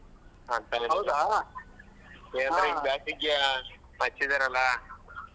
.